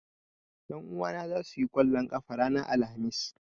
Ƴan uwana zasu yi ƙwallon ƙafa ranar Alhamis